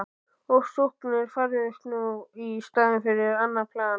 Ofsóknirnar færðust nú í staðinn yfir á annað plan.